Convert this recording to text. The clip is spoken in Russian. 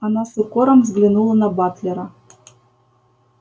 она с укором взглянула на батлера